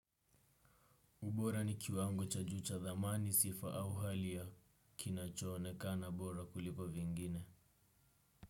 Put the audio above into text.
Ubora ni kiwango cha juu cha dhamani sifa au hali ya kinacho onekana bora kuliko vingine.